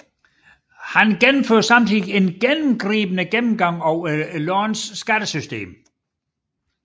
Han gennemførte samtidig en gennemgribende gennemgang af landets skattesystem